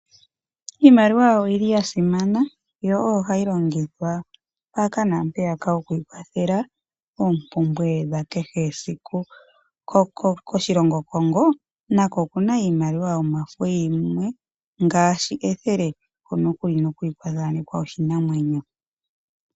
Iimaliwa oyo yili ya simana, yo oyo hayi longithwa mpaka naampeyaka oku ikwathela oompumbwe dha kehe esiku. Koshilongo shaCongo nako okuna iimaliwa yomafo ngaashi ethele, hono kuli kwa thaanekwa oshinamwenyo.